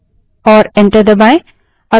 और enter दबायें